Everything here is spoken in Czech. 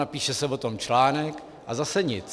Napíše se o tom článek a zase nic.